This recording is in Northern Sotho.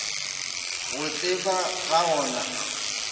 go tseba ga o na